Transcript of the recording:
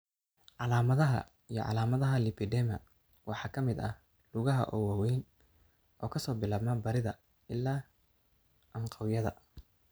Calaamadaha iyo calaamadaha lipedema waxaa ka mid ah lugaha oo waaweyn oo ka soo bilaabma barida ilaa anqawyada.